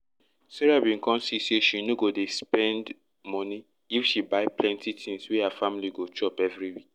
sarah bin come see say she no go dey to spend money if she buy plenty tins wey her family go chop every week